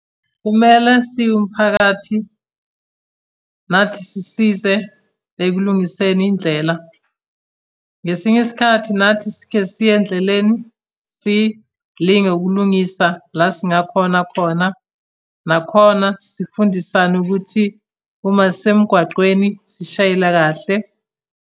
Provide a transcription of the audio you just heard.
Kumele siwumphakathi, nathi sisize ekulungiseni indlela. Ngesinye isikhathi nathi sike siye endleleni, silinge ukulungisa la esingakhona khona. Nakhona sifundisane ukuthi uma sisemgwaqweni sishayela kahle.